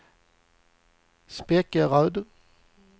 Spekeröd